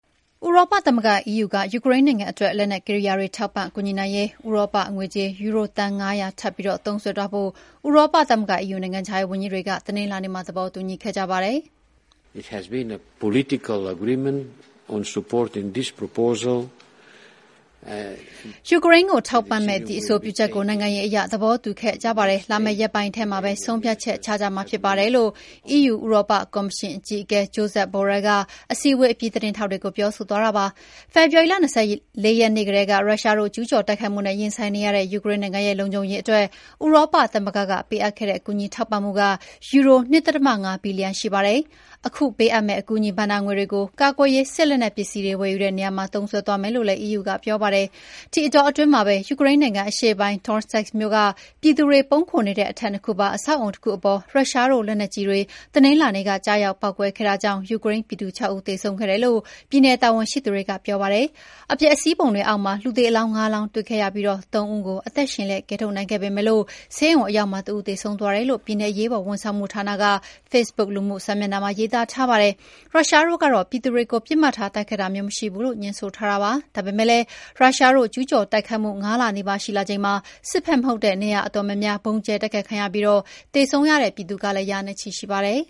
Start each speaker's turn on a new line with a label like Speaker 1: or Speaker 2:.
Speaker 1: ဥရောပသမဂ္ဂ EU က ယူကရိန်းနိုင်ငံအတွက် လက်နက်ကိရိယာတွေထောက်ပံ့ကူညီနိုင်ရေး ဥရောပငွေကြေး ယူရိုသန်း ၅၀၀ ထပ်ပြီးသုံးစွဲသွားဖို့ ဥရောပသမဂ္ဂEU နိုင်ငံခြားရေးဝန်ကြီးတွေ တနင်္လာနေ့က သဘောတူညီခဲ့ကြပါတယ်။
Speaker 2: “ ယူ
Speaker 1: ကရိန်းကို ထောက်ပံ့မယ့် ဒီအဆိုပြုချက်ကို နိုင်ငံရေးအရ သဘောတူခဲ့ကြပါတယ်။ လာမယ့် ရက်ပိုင်းထဲမှာပဲ ဆုံးဖြတ်ချက်ချကြမှာဖြစ်ပါတယ်” လို့ EU ဥရောပကော်မရှင်အကြီးအကဲ Joseph Borrell က အစည်းအဝေးအပြီး သတင်းထောက်တွေကို ပြောဆိုသွားတာပါ။ ဖေဖော်ဝါရီလ ၂၄ ရက်နေ့ကတည်းက ရုရှားတို့ ကျူးကျော်တိုက်ခိုက်မှုနဲ့ ရင်ဆိုင်နေရတဲ့ ယူကရိန်းနိုင်ငံရဲ့ လုံခြုံရေးအတွက် ဥရောပသမဂ္ဂကပေးအပ်ခဲ့တဲ့ကူညီထောက်ပံ့မှုက ယူရို ၂.၅ ဘီလီယံရှိပါတယ်။ ခုပေးအပ်မယ့်အကူအညီဘဏ္ဍာငွေတွေကို ကာကွယ်ရေးစစ်လက်နက်ပစ္စည်းတွေဝယ်ယူတဲ့နေရာမှာ သုံးစွဲသွားမယ်လို့လည်း EU ကပြောပါတယ်။ ဒီအတောအတွင်းမှာပဲ ယူကရိန်းနိုင်ငံအရှေ့ပိုင်း Toretsk မြို့က ပြည်သူတွေပုန်းခိုနေတဲ့ အထပ်၂ ခုပါ အဆောက်အအုံတခုအပေါ် ရုရှားတို့လက်နက်ကြီးတွေ တနင်္လာနေ့က ကျရောက်ပေါက်ကွဲခဲ့တာကြောင့် ယူကရိန်းပြည်သူ ၆ ဦးသေဆုံးခဲ့တယ်လို့ ပြည်နယ်တာဝန်ရှိသူတွေကပြောပါတယ်။ အပျက်အစီးပုံတွေအောက်မှာ လူသေအလောင်း ၅ လောင်းတွေ့ခဲ့ပြီး ၃ ဦးကိုအသက်ရှင်လျက် ကယ်ထုတ်နိုင်ခဲ့ပေမယ့် ဆေးရုံအရောက်မှာတဦးသေဆုံးသွားတယ်လို့ ပြည်နယ်အရေးပေါ်ဝန်ဆောင်မှုဌာနက ဖေ့ဘုတ်လူမှုစာမျက်နှာမှာ ရေးသားထားပါတယ်။ ရုရှားတို့ကတော့ ပြည်သူတွေကို ပစ်မှတ်ထားတိုက်ခိုက်တာမျိုး မရှိဘူးလို့ ငြင်းဆိုထားတာပါ။ ဒါပေမယ့်လည်း ရုရှားတို့ ကျူးကျော်တိုက်ခိုက်မှု ၅ လနီးပါးရှိလာချိန်မှာ စစ်ဖက်မဟုတ်တဲ့ နေရာအတော်များများ ဗုံးကြဲတိုက်ခိုက်ခံရပြီး သေဆုံးခဲ့ရတဲ့ပြည်သူက ရာနဲ့ချီရှိပါတယ်